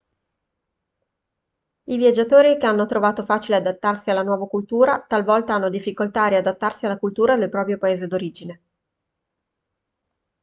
i viaggiatori che hanno trovato facile adattarsi alla nuova cultura talvolta hanno difficoltà a riadattarsi alla cultura del proprio paese d'origine